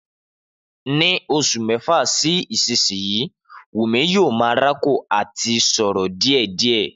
Ni òsu mẹfa si ìsínyì wúmì yìó mà ràkòrò àtí sórò diẹdiẹ